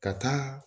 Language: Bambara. Ka taa